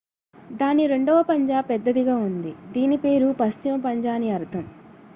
"""దాని రెండవ పంజా పెద్దదిగా ఉంది దీని పేరు """పశ్చిమ పంజా""" అని అర్ధం.""